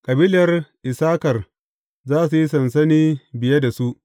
Kabilar Issakar za su yi sansani biye da su.